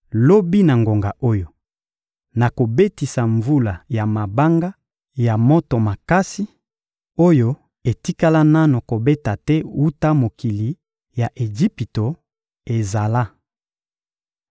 lobi na ngonga oyo, nakobetisa mvula ya mabanga ya moto makasi, oyo etikala nanu kobeta te wuta mokili ya Ejipito ezala.